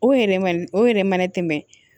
O yɛrɛ ma o yɛrɛ ma ne tɛmɛ